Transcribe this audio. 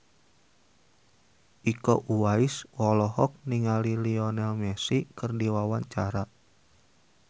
Iko Uwais olohok ningali Lionel Messi keur diwawancara